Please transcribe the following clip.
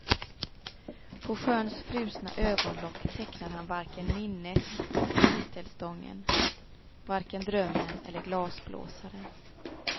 På sjöns frusna ögonlock tecknar han varken minnet eller tistelstången, varken drömmen eller glasblåsaren.